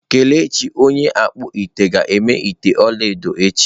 Kelechi onye okpu-ite ga-eme ite olaedo echi.